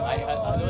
Ayva!